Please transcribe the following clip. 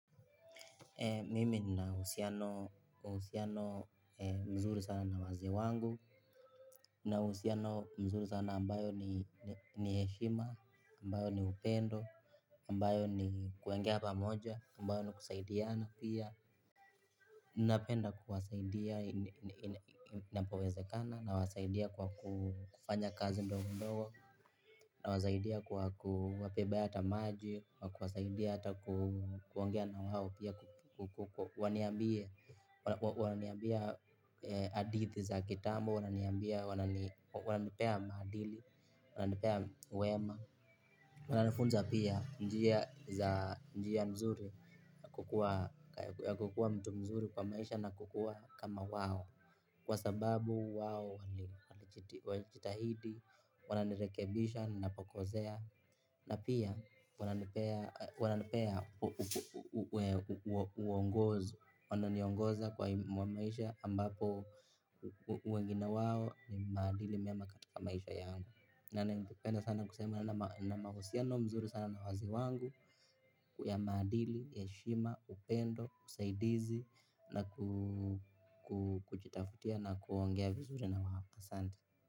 Mimi nina uhusiano mzuri sana na wazee wangu, na uhusiano mzuri sana ambayo ni heshima, ambayo ni upendo, ambayo ni kuongea pamoja, ambayo ni kusaidiana pia. Ninapenda kuwasaidia inapowezekana na wasaidia kwa kufanya kazi mdogo mdogo. Nawasaidia kwa kuwabebe hata maji hata kuongea na wao pia waniambie wananiambia hadithi za kitambo wananiambia wananipea maadili wananipea wema wananifunza pia njia nzuri kukuwa mtu mzuri kwa maisha na kukuwa kama wao. Kwasababu wao walijitahidi, wananirekebisha, ninapokosea. Na pia wananipea mwongozo wananiongoza kwa maisha ambapo wengine wao ni maadili mema katika maisha yangu. Na ningependa sana kusema nina mahusiano nzuri sana na wazee wangu ya maadili, heshima, upendo, usaidizi. Na kujitafutia na kuongea vizuri na wao asante.